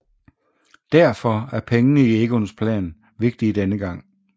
Derfor er pengene i Egons plan vigtige denne gang